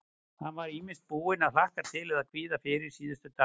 Hann var ýmist búinn að hlakka til eða kvíða fyrir síðustu dagana.